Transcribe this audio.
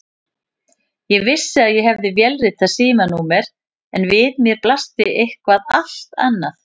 Ég vissi að ég hafði vélritað símanúmer en við mér blasti eitthvað allt annað.